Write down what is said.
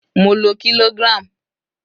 Mo lo kilogram.